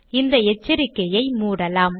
இந்த எச்சரிக்கையை மூடலாம்